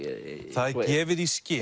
það er gefið í skyn